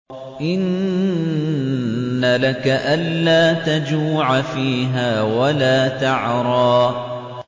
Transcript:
إِنَّ لَكَ أَلَّا تَجُوعَ فِيهَا وَلَا تَعْرَىٰ